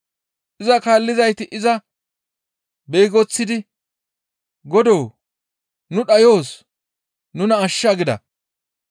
Iza kaallizayti iza beegoththidi, «Godoo! Nu dhayoos; nuna ashsha!» gida.